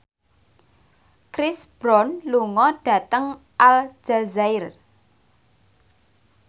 Chris Brown lunga dhateng Aljazair